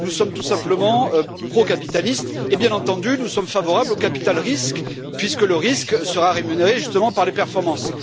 Nous sommes tout simplement procapitalistes et bien entendu nous sommes favorables au capital risque, puisque le risque sera rémunéré justement par les performances.